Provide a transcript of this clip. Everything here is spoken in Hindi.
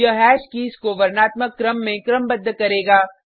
यह हैश कीज़ को वर्णात्मक क्रम में क्रमबद्ध करेगा